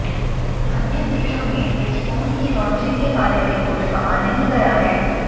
अन्य देशों में इस फोन की लॉन्चिंग के बारे में कुछ कहा नहीं गया है